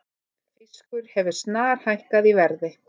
Fiskur hefur snarhækkað í verði